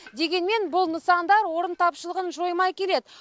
дегенмен бұл нысандар орын тапшылығын жоймай келеді